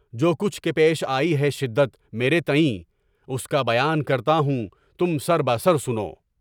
جو کچھ کہ پیش آی ہے، شدت مری تئیں اس کی بیان کرتا ہوں، تم سر بہ سر سنو!